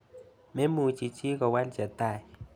Me muchi chi kowal che tai.